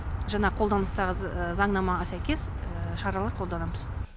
жаңағы қолданыстағы заңнамаға сәйкес шаралар қолданамыз